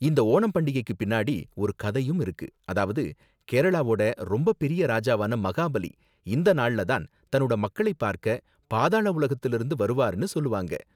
இந்த ஓணம் பண்டிகைக்கு பின்னாடி ஒரு கதையும் இருக்கு, அதாவது, கேரளாவோட ரொம்ப பெரிய ராஜாவான மகாபலி இந்த நாள்ல தான் தன்னோட மக்களைப் பார்க்க பாதாள உலகத்துலருந்து வருவாருனு சொல்லுவாங்க.